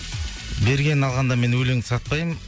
бергенін алғанда мен өлеңді сатпаймын